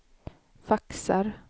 faxar